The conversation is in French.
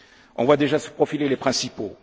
On voit déjà se profiler les principaux.